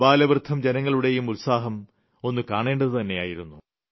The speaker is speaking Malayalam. ആബാലവൃദ്ധം ജനങ്ങളുടെയും ഉത്സാഹം ഒന്ന് കാണേണ്ടത് തന്നെയായിരുന്നു